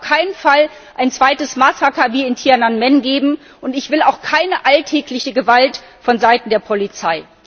Es darf auf keinen Fall ein zweites Massaker wie in auf den Tian'anmen geben, und ich will auch keine alltägliche Gewalt von Seiten der Polizei.